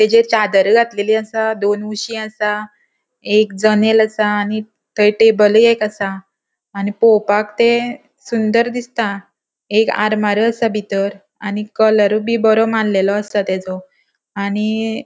तेजेर चादर घातलेली असा दोन उशी असा एक जनेल असा आणि थंय टेबलय एक असा आणि पोवपाक ते सुंदर दिसता एक आरमारु असा बितर आणि कलरबी बोरो मारलेलों असा त्यजो आणि ----